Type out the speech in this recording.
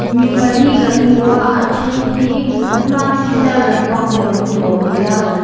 mi pali kan hmu a a then hi an mahni hi tar lampang deuh an ni awm a ni a.